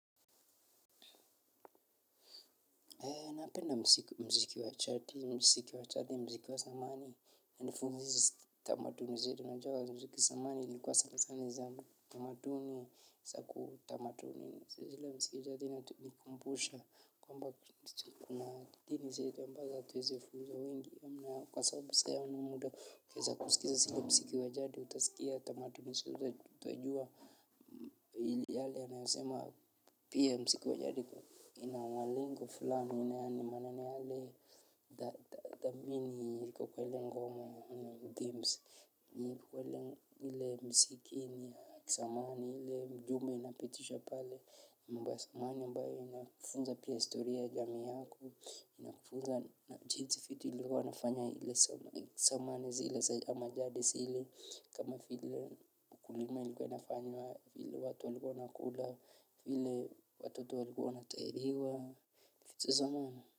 Napenda mziki wachati mziki wachati mziki wa chati mziki wa zamani na nifunzi tamaduni zetu najuw mziki wa zamani ilikuwa sana sana za tamaduni zaku tamaduni zile mziki inatukumbusha kwamba kuna dini zetu ambazo tuweze funzwa wengi ya mna kwa sababu sa hiyo una muda wa kuweza kusikiza zile mziki wa jadi utasikia tamaduni utajua ili yale yanayosemwa pia mziki wa jadi inamwalengo fulani Mbasa mani ambayo inakufunza pia historia jamii yako, inakufunza na jisi vitu ilikuwa nafanya ile zamani zile ama jadi ile, kama vile ukulima ilikuwa inafanywa ile watu walikuwa wanakula, vile watoto walikuwa wanatahiriwa, vitu.